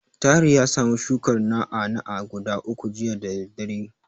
Tahir ya samu shukar na'a-na'a guda uku jiya da daddare.